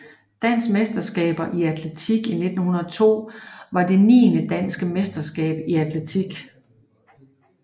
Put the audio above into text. Danske mesterskaber i atletik 1902 var det niende Danske mesterskaber i atletik